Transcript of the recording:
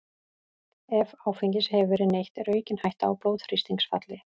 Ef áfengis hefur verið neytt er aukin hætta á blóðþrýstingsfalli.